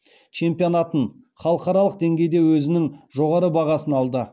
чемпионатын халықаралық деңгейде өзінің жоғары бағасын алды